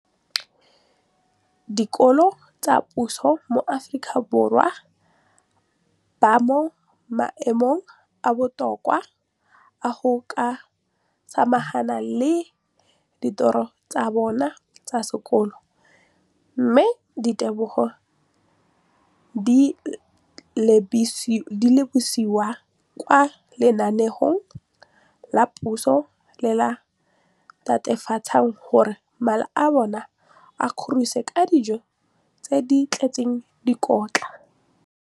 Dikolo tsa puso mo Aforika Borwa ba mo maemong a a botoka a go ka samagana le ditiro tsa bona tsa sekolo, mme ditebogo di lebisiwa kwa lenaaneng la puso le le netefatsang gore mala a bona a kgorisitswe ka dijo tse di tletseng dikotla.